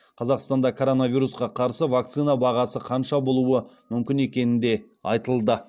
қазақстанда коронавирусқа қарсы вакцина бағасы қанша болуы мүмкін екені де айтылды